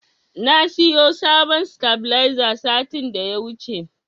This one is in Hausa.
Na siyo sabuwar sitabiliza satin da ya wuce.